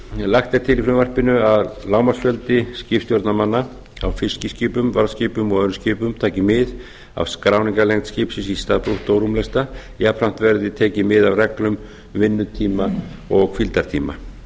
annars lagt er til í frumvarpinu að lágmarksfjöldi skipstjórnarmanna á fiskiskipum varðskipum og öðrum skipum taki mið af skráningarlengd skipsins í stað brúttórúmlesta jafnframt verði tekið mið af reglum vinnutíma og hvíldartíma